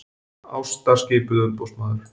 Ásta skipuð umboðsmaður